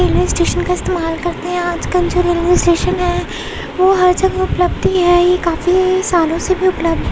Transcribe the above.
Railway station का इस्तेमाल करते हैं। आज-कल जो रेलवे स्टेशन हैं वो हर जगह उपलब्ध ही है। ये काफी सालों से उपलब्ध --